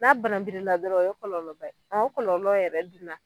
N'a bananbirila dɔrɔn o ye kɔlɔlɔba ye, o kɔlɔlɔ yɛrɛ dun na